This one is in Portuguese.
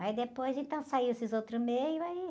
Mas depois, então, saíram esses outros meios aí.